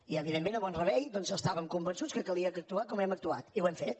i evidentment a mont rebei doncs estàvem convençuts que calia actuar com hem actuat i ho hem fet